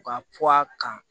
U ka puwa kan